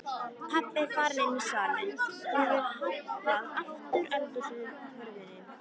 Pabbi er farinn inní salinn og hefur hallað aftur eldhúshurðinni.